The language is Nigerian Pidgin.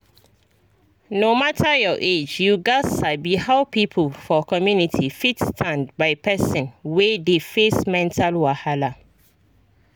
no matter your age you gats sabi how people for community fit stand by person wey dey face mental wahala.